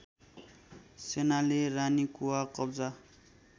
सेनाले रानीकुवा कब्जा